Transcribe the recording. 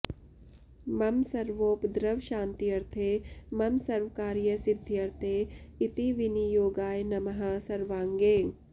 मम सर्वोपद्रवशान्त्यर्थे मम सर्वकार्यसिद्ध्यर्थे इति विनियोगाय नमः सर्वाङ्गे